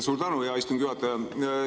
Suur tänu, hea istungi juhataja!